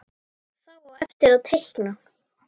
Þá á eftir að teikna.